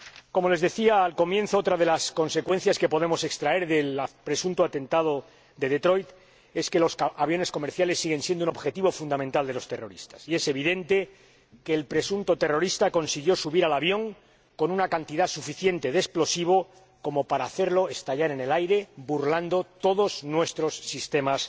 Como les decía al comienzo, otra de las consecuencias que podemos extraer del presunto atentado de Detroit es que los aviones comerciales siguen siendo un objetivo fundamental de los terroristas y es evidente que el presunto terrorista consiguió subir al avión con una cantidad suficiente de explosivo como para hacerlo estallar en el aire burlando todos nuestros sistemas